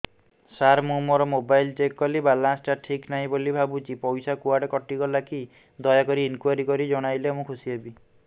ସାର ମୁଁ ମୋର mobile check କଲି ବାଲାନ୍ସ ଟା ଠିକ ନାହିଁ ବୋଲି ଭାବୁଛି ପଇସା କୁଆଡେ କଟି ଗଲା କି ଦୟାକରି ଇନକ୍ୱାରି କରି ଜଣାଇଲେ ମୁଁ ଖୁସି ହେବି